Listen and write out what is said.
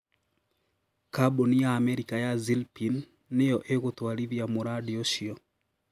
Kambuni ya Amerika ya Zilpine nĩyo ĩgũtwarithia mũradi ũcio